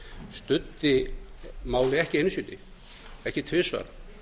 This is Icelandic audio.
studdi málið ekki einu sinni ekki tvisvar